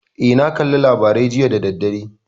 Eh, na kalla labarai jiya da daddare.